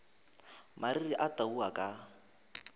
mariri a tau a ka